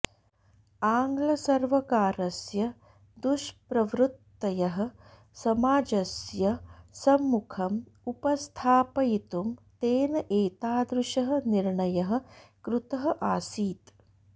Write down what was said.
आङ्ग्लसर्वकारस्य दुष्प्रवृत्तयः समाजस्य सम्मुखम् उपस्थापयितुं तेन एतादृशः निर्णयः कृतः आसीत्